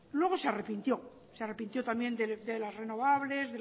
luego se arrepintió se arrepintió también de las renovables